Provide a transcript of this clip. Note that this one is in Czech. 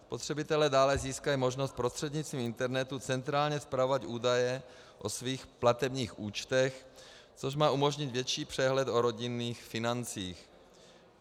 Spotřebitelé dále získají možnost prostřednictvím internetu centrálně spravovat údaje o svých platebních účtech, což má umožnit větší přehled o rodinných financích.